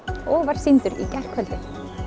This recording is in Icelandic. og var sýndur í gærkvöldi